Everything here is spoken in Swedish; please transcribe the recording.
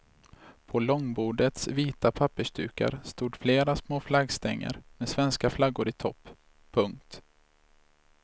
På långbordets vita pappersdukar stod flera små flaggstänger med svenska flaggor i topp. punkt